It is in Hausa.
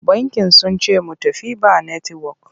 Bankin sun ce mu tafi ba netiwok.